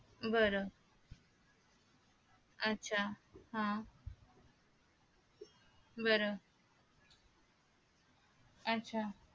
बर आच्छा हा बर आच्छा